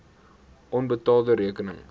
onbetaalde rekeninge